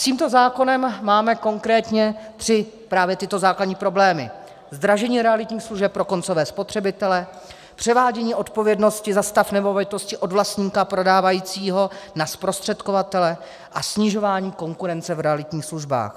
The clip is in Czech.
S tímto zákonem máme konkrétně tři právě tyto základní problémy: zdražení realitních služeb pro koncové spotřebitele, převádění odpovědnosti za stav nemovitosti od vlastníka, prodávajícího, na zprostředkovatele a snižování konkurence v realitních službách.